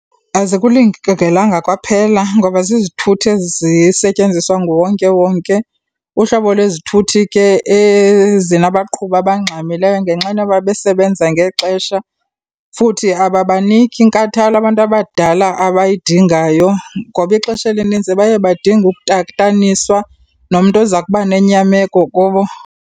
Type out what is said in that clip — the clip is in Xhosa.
Azikulingelanga kwaphela ngoba zizithuthi ezisetyenziswa nguwonkewonke, uhlobo lwezithuthi ke ezinabaqhubi abangxamileyo ngenxana yoba besebenza ngexesha futhi ababaniki nkathalo abantu abadala abayidingayo ngoba ixesha elinintsi baye badinga utataniswa nomntu oza kuba nenyameko kubo.